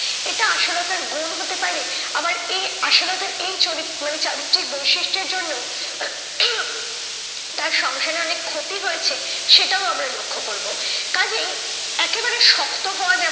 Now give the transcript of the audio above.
এটা আসলে তার গুন হতে পারে, আবার এ আসলে তার এই চরিত্র মানে চারিত্র্যিক বৈশিষ্টের জন্য তার সংসারে অনেক ক্ষতি হয়েছে সেটাও আমরা লক্ষ্য করবো। কাজেই একেবারে শক্ত হওয়া